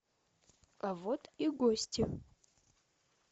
а вот и гости